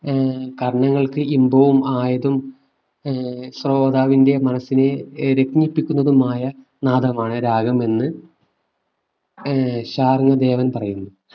ഏർ കർണ്ണങ്ങൾക്ക് ഇമ്പവും ആയതും ഏർ ശ്രോതാവിന്റെ മനസ്സിനെ രസിപ്പിക്കുന്നതുമായ നാദമാണ് രാഗമെന്ന് ഏർ ഷാരോൺ ദേവൻ പറയുന്നു